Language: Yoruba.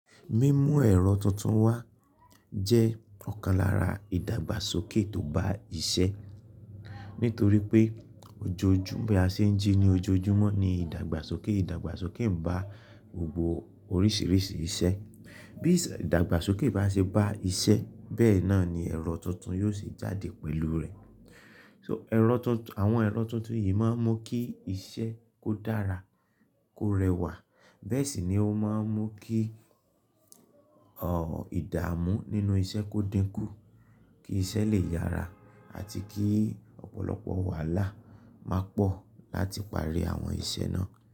Mímú èrò tuntun wá jẹ́ ọ̀kan lára ìdàgbàsókè tó bá iṣẹ́, nítorí pé ojoojúmọ́ bi a ṣe ń jí ní ojoojúmọ́ ní ìdàgbàsókè. Ìdàgbàsókè ń bá gbogbo oríṣiríṣi iṣẹ́. Bí ìdàgbàsókè bá ṣe bá iṣẹ́ bẹ́ẹ̀ náà ni èrò tuntun yóò sì jáde pẹ̀lú rẹ̀. So èrò tuntun, àwọn èrò tuntun yìí máa ń mú kí iṣẹ́ kó dára, kó rẹwà. Bẹ́ẹ̀ sì ni ó máa ń mú kí, o, ìdààmú nínú iṣẹ́ kó dínkù, kí iṣẹ́ lè yára àti kí ọ̀pọ̀lọpọ̀ wàhálà máa pọ̀ láti parí àwọn iṣẹ́ náà.